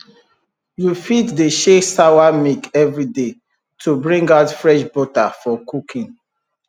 you fit dey shake sawa milk every day to bring out fresh butter for cooking